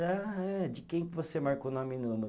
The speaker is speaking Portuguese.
Ah é, de quem você marcou nome e número?